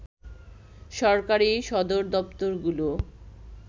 সরকারি সদরদপ্তরগুলো